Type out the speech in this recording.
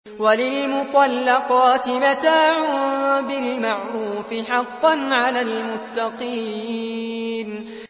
وَلِلْمُطَلَّقَاتِ مَتَاعٌ بِالْمَعْرُوفِ ۖ حَقًّا عَلَى الْمُتَّقِينَ